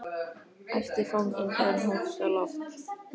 æpti fanginn þegar hann hófst á loft.